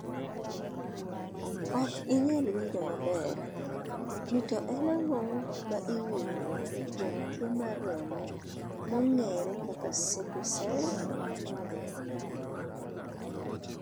Ok inyalo winjo maber ni to en ang'o ma iwinjo kuom twoo mar remo maong'eere kaka Sickle Cell?